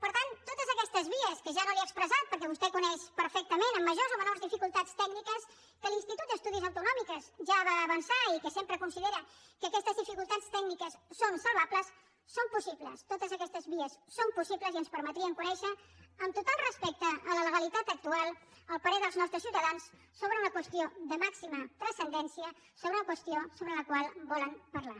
per tant totes aquestes vies que ja no li he expressat perquè vostè coneix perfectament amb majors o menors dificultats tècniques que l’institut d’estudis autonòmics ja va avançar i que sempre considera que aquestes dificultats tècniques són salvables són possibles totes aquestes vies són possibles i ens permetrien conèixer amb total respecte a la legalitat actual el parer dels nostres ciutadans sobre una qüestió de màxima transcendència sobre una qüestió sobre la qual volen parlar